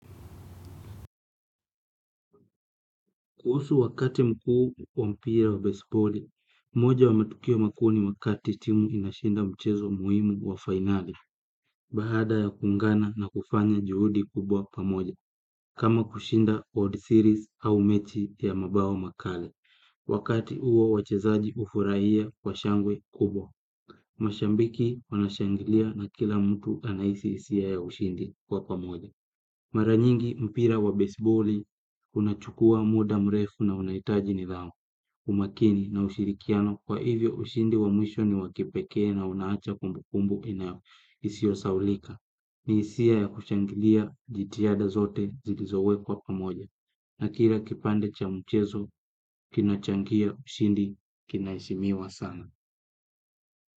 Kuhusu wakati mkuu wa mpira wa baseballi, moja wa matukio makuu ni wakati timu inashinda mchezo muhimu wa finali, baada ya kuungana na kufanya juhudi kubwa pamoja, kama kushinda odd series au mechi ya mabao makali, wakati huo wachezaji hufurahia kwa shangwe kubwa, mashabiki wanashangilia na kila mtu anahisi hisia ya ushindi kwa pamoja. Mara nyingi mpira wa baseballi, unachukua muda mrefu na unahitaji nidhamu, umakini na ushirikiano kwa hivyo ushindi wa mwisho ni wakipekee na unaacha kumbukumbu ina isiyo sahaulika, ni hisia ya kushangilia jitiada zote zilizowekwa pamoja, na kila kipande cha mchezo, kinachangia ushindi kinaheshimiwa sana.